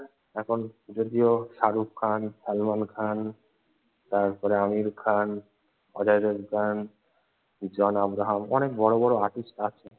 এখন যদিও শারুখ খান, সালমান খান, তারপরে আমির খান, অজয় দেবগান, জন আব্রাহাম অনেক বড়ো বড়ো artist রা আছে।